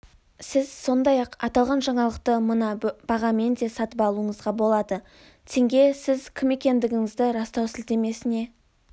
сіз сондай-ақ аталған жаңалықты мына бағамен де сатып алуыңызға болады тенге сіз кім екендігіңізді растау сілтемесіне